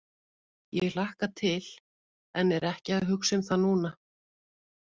Ég hlakka til en er ekki að hugsa um það núna.